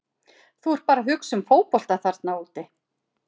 Þú ert bara að hugsa um fótbolta þarna úti.